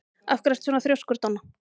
Af hverju ertu svona þrjóskur, Donna?